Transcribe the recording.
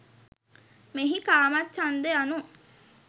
මෙහි කාමච්ඡන්ද යනු